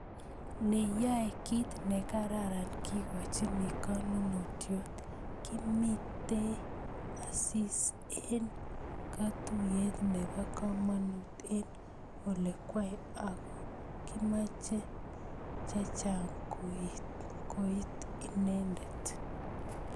Neyaei kit nekararan kekochini konunotiot, Kimitei Asisi eng katuiyet nebo komonut eng olingwai ako kimach chechang kouit inendet